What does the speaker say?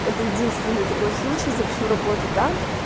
это единственный такой случай за всю работу там